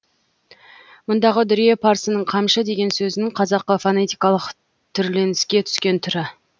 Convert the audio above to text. мұндағы дүре парсының қамшы деген сөзінің қазақы фонетикалық түрленіске түскен түрі